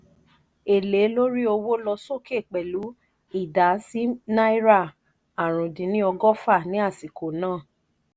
èlé lórí owó lọ sokè pelu idà si náírà àrún dín ní ọgọ́fà ni asiko na.